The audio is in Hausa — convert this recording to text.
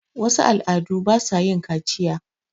wasu al' adu ba sa yin kaciya